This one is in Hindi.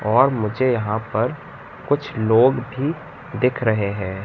और मुझे यहां पर कुछ लोग भी दिख रहे हैं।